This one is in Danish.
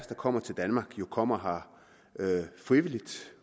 kommer til danmark jo kommer her frivilligt